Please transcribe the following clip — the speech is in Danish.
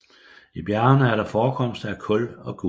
I bjergene er der forekomster af kul og guld